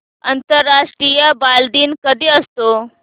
आंतरराष्ट्रीय बालदिन कधी असतो